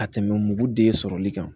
Ka tɛmɛ mugu den sɔrɔli kan